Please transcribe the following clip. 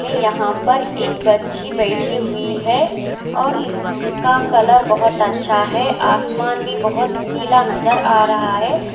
यहां पर एक बच्ची बैठी हुई है और इसका कलर बहुत अच्छा है आसमान में बहुत नीला नजर आ रहा है।